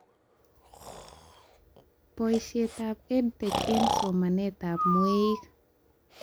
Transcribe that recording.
Boishetab EdTech eng somanetab mweik